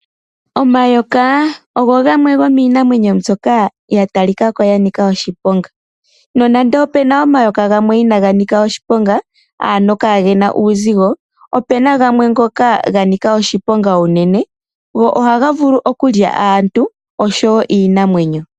Omayoka ogo gamwe gomiinamwenyo mbyoka ya talika ko ya nika oshiponga nonando opena omayoka gamwe inaga nika oshiponga kaagena uusigo opena gamwe ngoka ga talika ko ga Nika oshiponga uunene go oha ga vulu okulya aantu oshowo iinamwenyo.